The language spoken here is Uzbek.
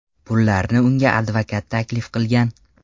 Pullarni unga advokat taklif qilgan.